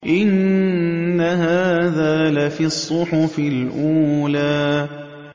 إِنَّ هَٰذَا لَفِي الصُّحُفِ الْأُولَىٰ